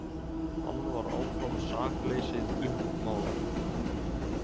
Hann var áfram sakleysið uppmálað.